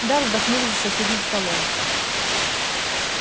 да вздохнули за соседним столом